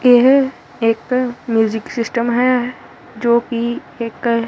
ਇਹ ਇਕ music system ਹੈ ਜੋ ਕਿ ਇਕ--